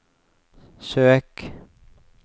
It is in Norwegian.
søk